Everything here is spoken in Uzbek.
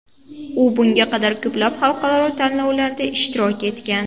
U bunga qadar ko‘plab xalqaro tanlovlarda ishtirok etgan.